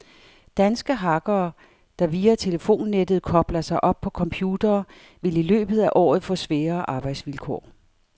Danske hackere, der via telefonnettet kobler sig op på computere, vil i løbet af året få sværere arbejdsvilkår.